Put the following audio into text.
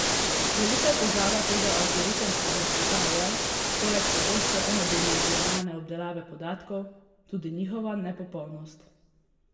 Velika težava tega algoritemskega sveta je, poleg pogosto enodimenzionalne obdelave podatkov, tudi njihova nepopolnost.